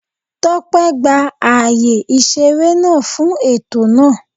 Tópé gba ààyè ìṣeré náà fún ètò náà